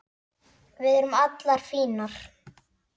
Við erum allar fínar